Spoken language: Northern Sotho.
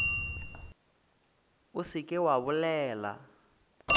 o se ke wa bolela